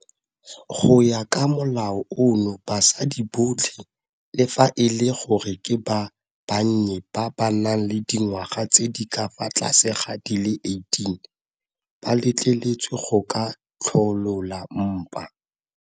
Go ya ka molao ono basadi botlhe, le fa e le gore ke ba bannye ba ba nang le dingwaga tse di ka fa tlase ga di le 18, ba letleletswe go ka tsholola mpa.